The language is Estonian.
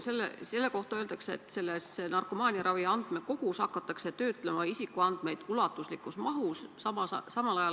Selle kohta öeldakse, et narkomaaniaravi andmekogus hakatakse isikuandmeid töötlema ulatuslikus mahus.